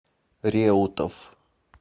реутов